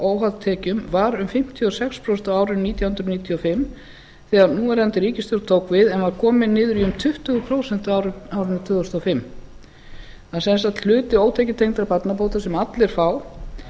óháð tekjum var um fimmtíu og sex prósent á árinu nítján hundruð níutíu og fimm þegar núverandi ríkisstjórn tók við en var komið niður í um tuttugu prósent árið tvö þúsund og fimm það er sem sagt hluti ótekjutengdra barnabóta sem allir fá